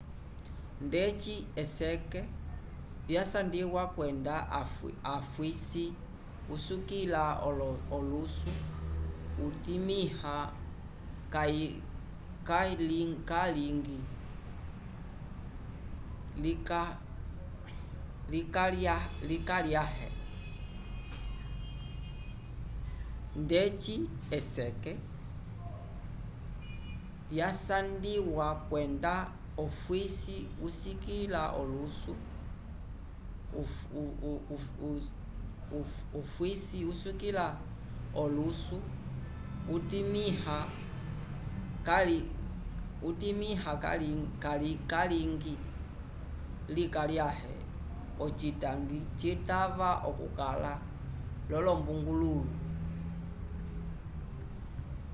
ndeci eseke vyasandwiwa kwenda ofwisi usikĩla olusu utimĩha kayilingi likalyãhe ocitangi citava okukala l'olombungulũlu